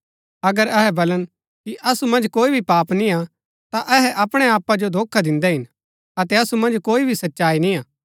अगर अहै बलन कि असु मन्ज कोई भी पाप निआं ता अहै अपणै आपा जो धोखा दिन्दै हिन अतै असु मन्ज कोई भी सच्चाई निआं